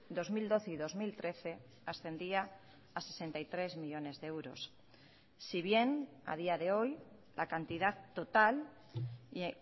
dos mil doce y dos mil trece ascendía a sesenta y tres millónes de euros si bien a día de hoy la cantidad total y